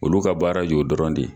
Olu ka baara jo dɔrɔn de ye